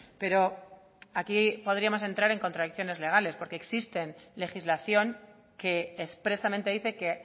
pero aquí podríamos entrar en contradicciones legales porque existe legislación que expresamente dice que